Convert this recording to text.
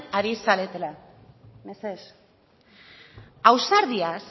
ari zaretela mesedez ausardiaz